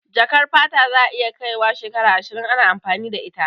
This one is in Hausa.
Jakar fata za ta iya kai wa shekaru ashirin ana amfani da ita